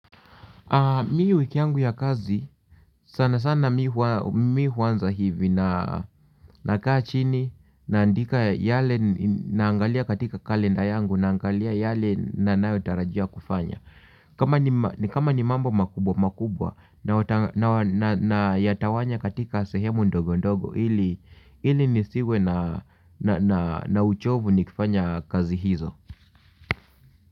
Mimi wiki yangu ya kazi sana sana mi huanza hivi na kaa chini naandika yale naangalia katika kalenda yangu naangalia yale ninayotarajia kufanya. Kama ni mambo makubwa makubwa, nayatawanya katika sehemu ndogo ndogo ili nisiwe na uchovu nikifanya kazi hizo.